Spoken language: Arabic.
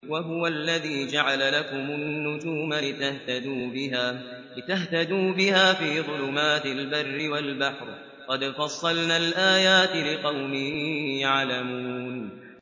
وَهُوَ الَّذِي جَعَلَ لَكُمُ النُّجُومَ لِتَهْتَدُوا بِهَا فِي ظُلُمَاتِ الْبَرِّ وَالْبَحْرِ ۗ قَدْ فَصَّلْنَا الْآيَاتِ لِقَوْمٍ يَعْلَمُونَ